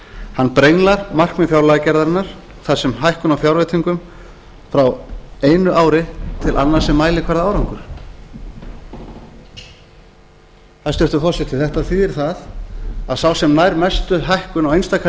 hann brenglar markmið fjárlagagerðarinnar þar sem hækkun fjárveitinga frá einu ári til annars er mælikvarði á árangur hæstvirtur forseti þetta þýðir það að sá sem nær mestri hækkun á einstaka